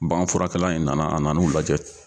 Banganfurakɛla in nana a nan'u lajɛ